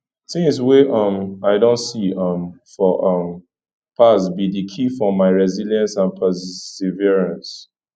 tings wey um i don see um for um past be di key for my resilience and perseverance